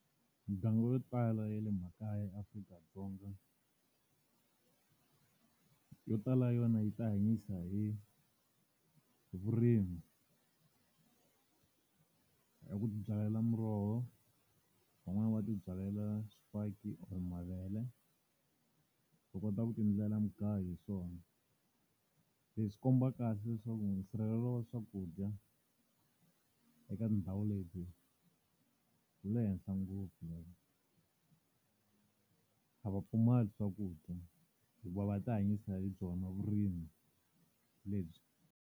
Mindyangu yo tala ya le makaya eAfrika-Dzonga, yo tala yona yi ti hanyisa hi hi vurimi. Hi ku ti byalela muroho, van'wani va ti byalela swifaki or mavele, u kota ku ti endlela mugayo hi swona. Leswi swi komba kahle leswaku nsirhelelo wa swakudya eka ndhawu leti wu le henhla ngopfu. A va pfumali swakudya hikuva va ti hanyisa hi byona vurimi lebyi.